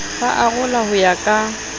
ba arola ho ya ka